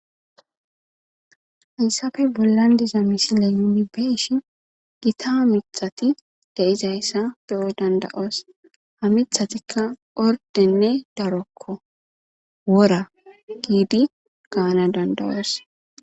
Hayssafe bollan diza misile yuni be ishi gita ha mitati deizayssa beyo danda'os ha mithatikka ordenne darokko wora giidi gaana dandayoese